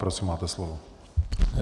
Prosím, máte slovo.